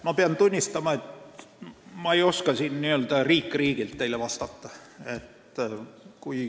Ma pean tunnistama, et ma ei oska teile riikide kaupa vastata.